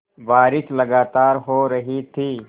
बारिश लगातार हो रही थी